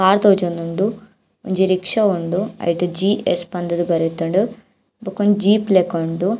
Car ತೋಜೊಂದುಂಡು ಒಂಜಿ rickshaw ಉಂಡು ಐಟ್ ಜಿ.ಎಸ್ಸ್ ಪಂದ್ ದ್ ಬರೆತ್ಂಡ್ ಬಕೊಂಜಿ ಜೇಪ್ ಲೆಕ ಉಂಡು.